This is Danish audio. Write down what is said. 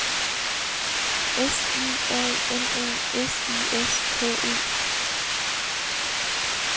S I A M E S I S K E